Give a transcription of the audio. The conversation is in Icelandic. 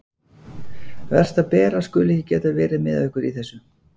Verst að Bera skuli ekki geta verið með okkur í þessu.